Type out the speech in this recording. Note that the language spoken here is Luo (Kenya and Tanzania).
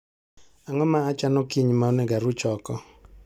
Ang'o ma achano kiny ma onego aruch oko?